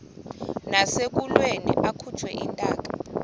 nasekulweni akhutshwe intaka